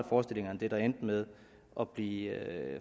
forestillinger end det der endte med at blive